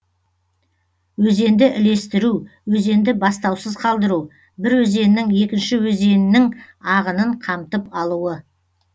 өзенді ілестіру өзенді бастаусыз қалдыру бір өзеннің екінші өзеннің ағынын қамтып алуы